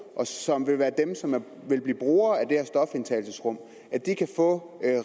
og som vil være dem som vil blive brugere af det her stofindtagelsesrum kan få